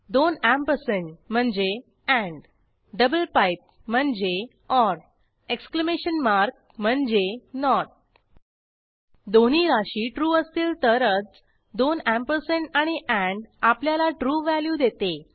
दोन अँपरसँड म्हणजे double pipe म्हणजे एक्स्लमेशन मार्क म्हणजे दोन्ही राशी ट्रू असतील तरच दोन अँपरसँड आणि एंड आपल्याला ट्रू व्हॅल्यू देते